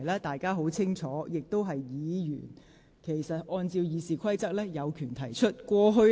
大家清楚知道，按照《議事規則》，議員有權提出規程問題。